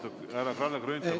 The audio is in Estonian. Austatud härra Kalle Grünthal!